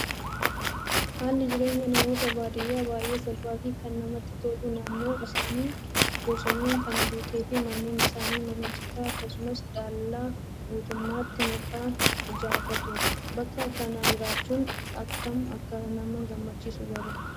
Haalli jireenya namoota baadiyyaa baay'ee salphaa fi kan namatti tolu naannoon isaanii bosonaan kan guutee fi manneen isaanii mana citaa akkasumas dallaa guutummaatti mukaan ijjarratu. Bakka akkanaa jiraachuun akkam akka nama gammachiisu garuu